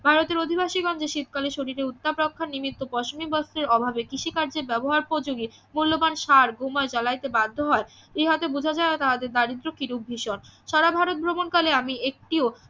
ভারতের অধিবাসীগণ যে শীতকালে শরীরে উত্তাপাখ্যান নিমিত্ত পশমি বস্ত্রের অভাবে কৃষিকার্যের ব্যবহার উপযোগী মূল্যবান সার ভুমাস জালাইতে বাধ্য হয় ইহাতে বুঝা যায় যে তাহাদের দারিদ্র কিরূপ ভীষণ সারা ভারত ভ্রমণকালে আমি একটিও